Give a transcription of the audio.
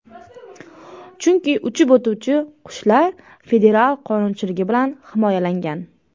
Chunki uchib o‘tuvchi qushlar federal qonunchiligi bilan himoyalangan.